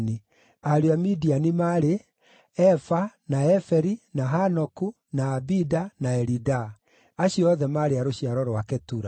Ariũ a Midiani maarĩ: Efa, na Eferi, na Hanoku, na Abida, na Elidaa. Acio othe maarĩ a rũciaro rwa Ketura.